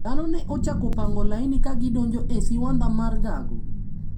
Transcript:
Dhano ne ochako pango laini ka gidonjo e siwandha mar gago.